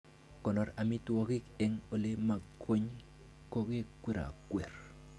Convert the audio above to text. Konoor amitwogik en elemokwony kokakikwerokwer.